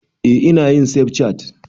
Eh ina yin safcat